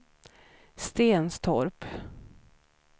Stenstorp